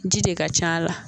Ji de ka ca a la